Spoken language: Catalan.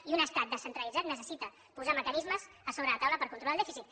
i un estat descentralitzat necessita posar mecanismes a sobre la taula per controlar el dèficit